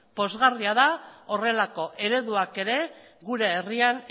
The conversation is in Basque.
pozgarria da horrelako ereduak ere gure herrian